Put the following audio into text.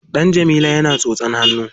Ɗan Jamila yana tsotsan hannu.